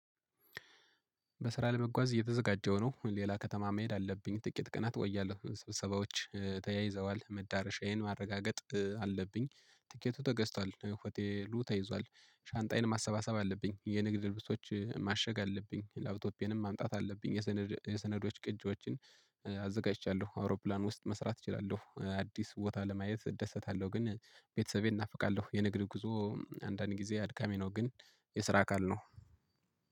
በስራ ለመጓዝ እየተዘጋጀሁ ነው። ሌላ ከተማ መሄድ አለብኝ። ጥቂት ቅናት እቆያለሁ፤ ስብሰባዎች ተያይዘዋል መዳረሻዬን ማረጋገጥ አለብኝ። ትኬቱ ተገዝቷል፤ ሆቴሉ ተይዟል፤ ሻንጣዬን ማሰባሰብ አለብኝ፤ የንግድ ልብሶች ማሸግ አለብኝ፤ ላፕቶፒየንም ማምጣት አለብኝ፤ የሰነዶች ቅጂዎችን አዘጋጅቻለሁ አውሮፕላን ውስጥ መስራት እችላለሁ። አዲስ ቦታ ለማየት እደሰታለሁ ግን ቤተሰቤን ናፍቃለሁ የንግድ ጉዞ አንዳንድ ጊዜ አድካሚ ነው ግን የስራ አካል ነው።